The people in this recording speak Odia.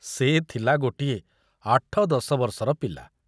ସେ ଥିଲା ଗୋଟିଏ ଆଠ ଦଶ ବର୍ଷର ପିଲା!